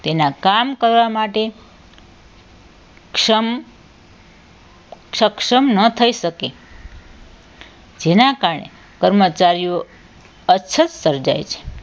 તેના કામ કરવા માટે સમ સક્ષમ ન થઈ શકે જેના કારણે કર્મચારીઓ અછત પર જાય છે